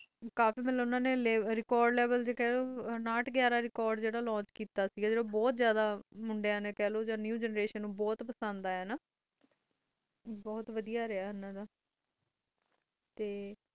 record level ਉਨਾਥ ਗਿਆਰਾਂ launch ਕੀਤੀ ਸੇ ਜਦ ਮੁੰਡਾ ਨਵ ਜੇਂਦ੍ਰਸ਼ਨ ਨੂੰ ਬੋਥ ਪਸੰਦ ਆਯਾ ਸੀ ਉਹ ਬੋਥ ਵਾਦੀਆਂ ਰਿਹਾ ਹਨ ਦਾā